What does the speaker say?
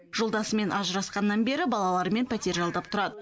жолдасымен ажырасқаннан бері балаларымен пәтер жалдап тұрады